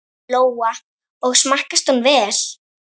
Lóa: Og smakkast hún vel?